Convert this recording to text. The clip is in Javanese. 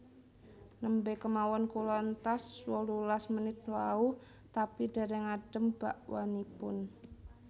Nembe kemawon kula entas wolulas menit wau tapi dereng adem bakwanipun